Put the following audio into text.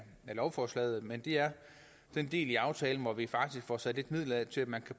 lovforslaget det er den del af aftalen hvor vi faktisk får sat lidt midler af til at man